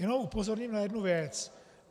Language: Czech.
Jenom upozorním na jednu věc.